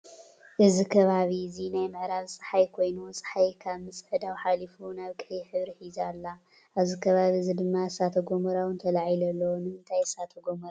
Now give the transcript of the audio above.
እዚ ከባቢ እዚ ናይ ምዕራብ ፃሓይ ኮይኑ ፀሓይ ካብ ምፅዕዳው ሓሊፋ ናብ ቀይሕ ሕብሪ ሒዛ ኣላ። ኣብዚ ከባቢእዚ ድማ እሳተ-ጎሞራ እውን ተላዒሉ ኣሎ። ንምንታይ እዩ እሳተ ጎሞራ ዝለዓል ?